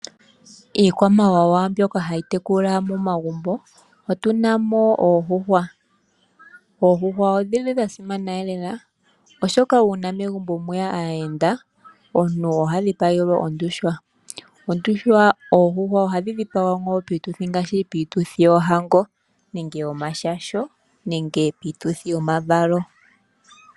Iikwamawawa mbyoka hayi tekulwa momagumbo otuna oondjuhwa. Oondjuhwa odhili dha simana lela oshoka uuna megumbo mweya aayenda omuntu oha dhipagelwa ondjuhwa . Oondjuhwa ohadhi dhipagwa ngaashi piituthi yoohango nenge yomashasho nenge piituthi yomavalo.